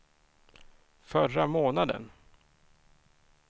förra månaden